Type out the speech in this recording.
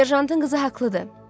Serjantın qızı haqlıdır.